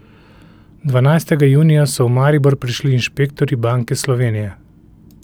Dvanajstega junija so v Maribor prišli inšpektorji Banke Slovenije.